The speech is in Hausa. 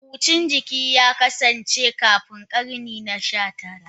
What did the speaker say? Hucin jiki ya kasance kafin karni na 19.